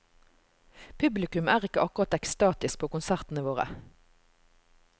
Publikum er ikke akkurat ekstatisk på konsertene våre.